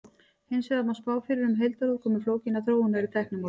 hins vegar má spá fyrir um heildarútkomu flókinnar þróunar í tæknimálum